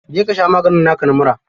Je ka sha maganin naka na mura.